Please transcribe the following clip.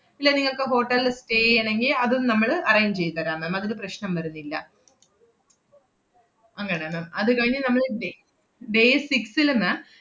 ഇല്ല നിങ്ങൾക്ക് hotel ല് stay എയ്യണങ്കി അതും നമ്മള് arrange എയ്ത് തരാം ma'am അതിന് പ്രശ്‌നം വരുന്നില്ല. അങ്ങനെ ma'am അത് കഴിഞ്ഞ് നമ്മള് da~ day six ല് ma'am